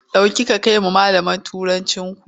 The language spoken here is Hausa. Ɗauki ka kai wa malamar Turancinka!